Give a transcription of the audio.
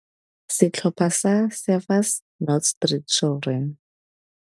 Setlhopha sa Surfers Not Street Children.